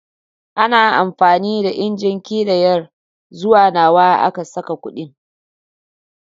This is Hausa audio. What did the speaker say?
Ana amfani da injin ƙidayar zuwa nawa aka saka kuɗin.